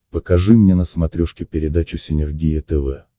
покажи мне на смотрешке передачу синергия тв